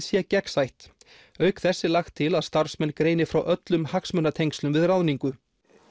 sé gegnsætt auk þess er lagt til að starfsmenn greini frá öllum hagsmunatengslum við ráðningu